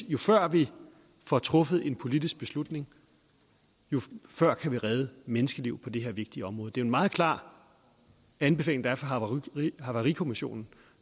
jo før vi får truffet en politisk beslutning jo før kan vi redde menneskeliv på det her vigtige område det er meget klar anbefaling der er fra havarikommissionen